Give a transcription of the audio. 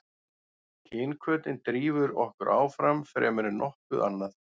kynhvötin drífur okkur áfram fremur en nokkuð annað